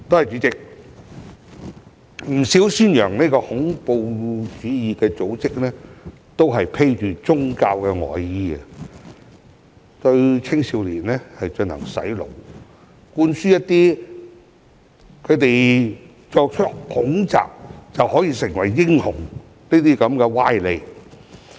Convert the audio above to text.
主席，不少宣揚恐怖主義的組織都是披着"宗教外衣"，對青少年進行"洗腦"，向他們灌輸作出恐襲後便可以成為英雄的歪理。